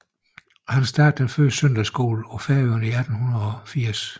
Han startede den første søndagsskole på Færøerne i 1880